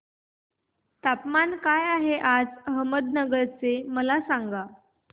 तापमान काय आहे आज अहमदनगर चे मला सांगा